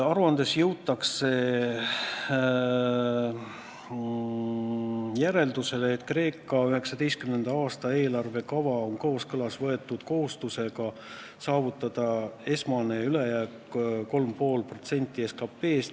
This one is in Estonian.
Aruandes jõutakse järeldusele, et Kreeka 2019. aasta eelarvekava on kooskõlas võetud kohustusega saavutada esmane ülejääk 3,5% SKP-st.